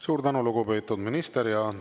Suur tänu, lugupeetud minister!